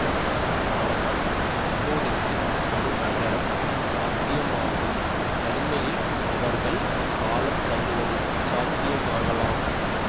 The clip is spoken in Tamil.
ஆனால் இப்போதிக்கு ஒரு நகரம் சாத்தியமாக்கும் தனிமையில் அவர்கள் காலம் தள்ளுவது சாத்தியமாகலாம்